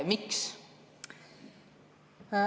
Miks?